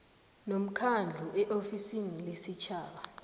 nomkhandlu eofisini lesitjhaba